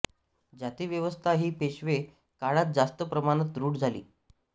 जातीव्यवस्था ही पेशवे काळात जास्त प्रमाणात रूढ झाली